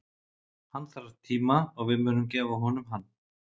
Hann þarf tíma og við munum gefa honum hann.